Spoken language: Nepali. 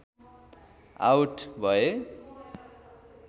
आउट भए